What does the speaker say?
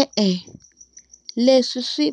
E-e, leswi swi